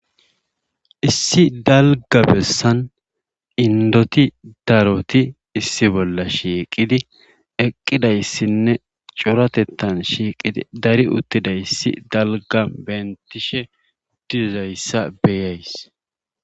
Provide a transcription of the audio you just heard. Issi daægga bessan inddoti daroti issi bolla shiiqidi eqqidayssinne coratettan shiiqidi dari uttidayssi dalgga benttishe dizayssa beyays.